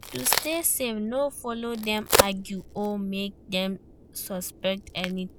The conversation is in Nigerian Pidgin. To stay safe no follow dem argue or make dem suspect anything